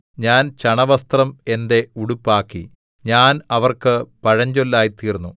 ഞാൻ ചണവസ്ത്രം എന്റെ ഉടുപ്പാക്കി ഞാൻ അവർക്ക് പഴഞ്ചൊല്ലായിതീർന്നു